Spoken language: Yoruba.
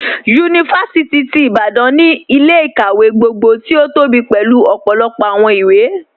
Yunifásìtì ti Ìbàdàn ni ilẹ̀-ikáwẹ̀ gbogbo tí o tóbí pélu ọpọlọpọ awọn ìwé.